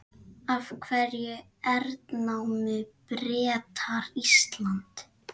Af hverju hernámu Bretar Ísland?